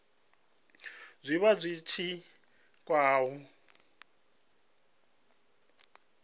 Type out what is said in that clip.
zwa vha zwi tshi khou